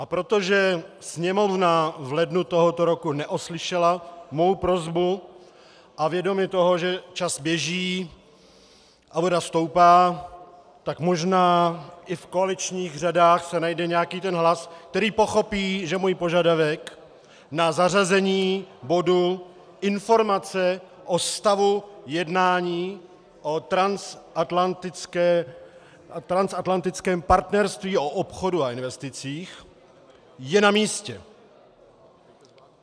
A protože Sněmovna v lednu tohoto roku neoslyšela mou prosbu, a vědomi si toho, že čas běží a voda stoupá, tak možná i v koaličních řadách se najde nějaký ten hlas, který pochopí, že můj požadavek na zařazení bodu Informace o stavu jednání o Transatlantickém partnerství o obchodu a investicích je namístě.